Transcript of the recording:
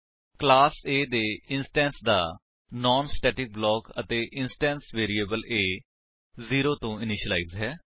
class A ਦੇ instance ਦਾ non static block ਅਤੇ ਇੰਸਟੈਂਸ ਵੇਰਿਏਬਲ A 0 ਤੋ ਇਨਿਸ਼ਿਲਾਇਜ ਹੈ